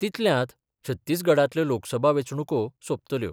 तितल्यांत छत्तीसगडांतल्यो लोकसभा वेचणुको सोपतल्यो.